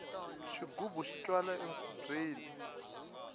xigubu xi twala enkhubyeni